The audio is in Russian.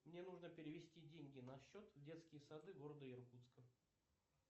мне нужно перевести деньги на счет в детские сады города иркутска